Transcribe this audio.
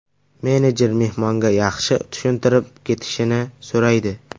Menejer mehmonga yaxshi tushuntirib ketishini so‘raydi.